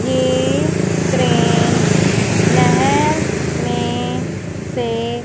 ये क्रेन नहर में से--